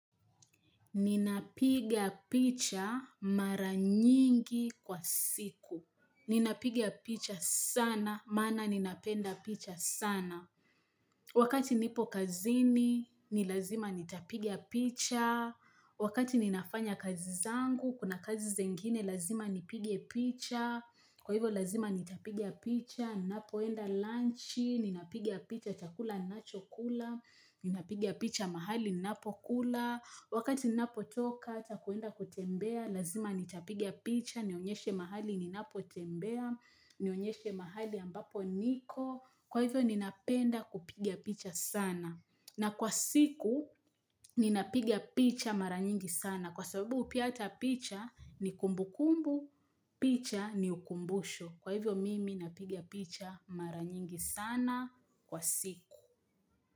Ninapiga picha mara nyingi kwa siku. Ninapiga picha sana, maana ninapenda picha sana. Wakati nipo kazini, ni lazima nitapiga picha. Wakati ninafanya kazi zangu, kuna kazi zengine, lazima nipige picha. Kwa hivyo, lazima nitapiga picha. Ninapoenda lunch, ninapiga picha chakula ninachokula. Ninapiga picha mahali, ninapokula. Wakati ninapotoka, hata kuenda kutembea, lazima nitapiga picha, nionyeshe mahali ninapotembea, nionyeshe mahali ambapo niko, kwa hivyo ninapenda kupiga picha sana. Na kwa siku, ninapiga picha mara nyingi sana. Kwa sababu pia ata picha, ni kumbu kumbu, picha ni ukumbusho. Kwa hivyo mimi napiga picha mara nyingi sana kwa siku.